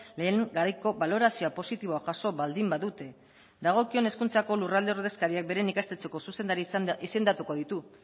lehen garaiko balorazioa positiboa jaso baldin badute dagokion hezkuntzako lurralde ordezkariak beren ikastetxeko zuzendari izendatuko ditu